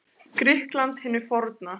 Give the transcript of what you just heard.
Grikklandi hinu forna.